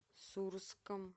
сурском